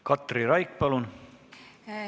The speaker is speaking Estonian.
Katri Raik, palun!